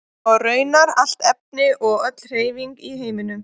Og raunar allt efni og öll hreyfing í heiminum.